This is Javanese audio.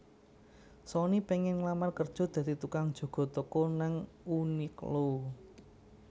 Soni pengen nglamar kerjo dadi tukang jaga toko nang Uniqlo